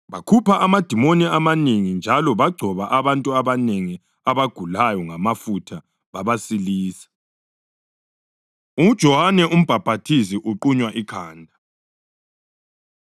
Bakhupha amadimoni amanengi njalo bagcoba abantu abanengi abagulayo ngamafutha babasilisa. UJohane Umbhaphathizi Uqunywa Ikhanda